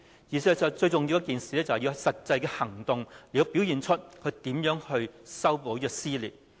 事實上，最重要的是要有實際行動來顯示她有心修補撕裂。